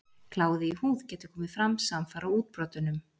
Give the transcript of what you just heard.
Kláði í húð getur komið fram samfara útbrotunum.